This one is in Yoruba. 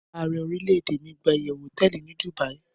Aare orilede mi gba iyewu hoteeli ni Dubai